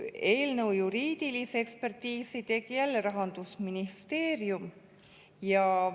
Eelnõu juriidilise ekspertiisi tegi jälle Rahandusministeerium.